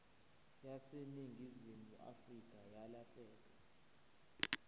yaseningizimu afrika yalahleka